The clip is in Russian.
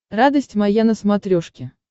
радость моя на смотрешке